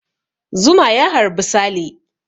Zuma ya harbi Sale.